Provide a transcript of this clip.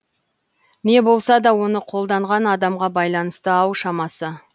не болса да оны қолданған адамға байланысты ау шамасы